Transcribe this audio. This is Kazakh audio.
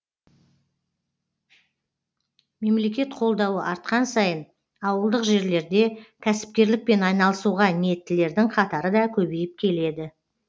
мемлекет қолдауы артқан сайын ауылдық жерлерде кәсіпкерлікпен айналысуға ниеттілердің қатары да көбейіп келеді